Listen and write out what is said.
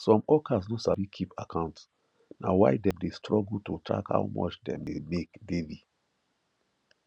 some hawkers no sabi keep account na why dem dey struggle to track how much dem dey make daily